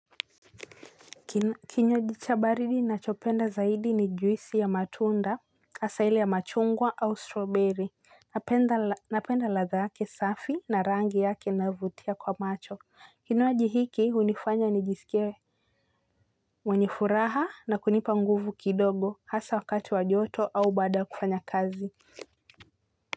Kinywaji cha baridi niachopenda zaidi ni juisi ya matunda, hasa ile ya machungwa au strawberry. Napenda ladhaa yake safi na rangi yake inayovutia kwa macho kinywaji hiki huniifanya nijiskie mwenye furaha na kunipa nguvu kidogo hasa wakati wa joto au baada kufanya kazi.